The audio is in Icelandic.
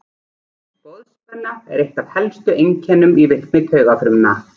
Boðspenna er eitt af helstu einkennum í virkni taugafrumna.